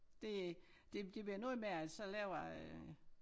Det det det bliver noget med at så laver jeg